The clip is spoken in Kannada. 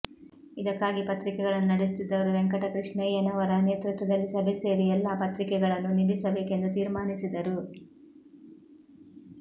ಇದಕ್ಕಾಗಿ ಪತ್ರಿಕೆಗಳನ್ನು ನಡೆಸುತ್ತಿದ್ದವರು ವೆಂಕಟಕೃಷ್ಣಯ್ಯ ನವರ ನೇತೃತ್ವದಲ್ಲಿ ಸಭೆ ಸೇರಿ ಎಲ್ಲಾ ಪತ್ರಿಕೆಗಳನ್ನು ನಿಲ್ಲಿಸಬೇಕೆಂದು ತೀರ್ಮಾನಿಸಿದರು